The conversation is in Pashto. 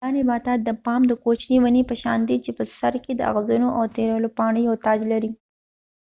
دا نباتات د پام د کوچنی ونی په شان دي چې په سر کې د اغزنو او تیرو پاڼو یو تاج لري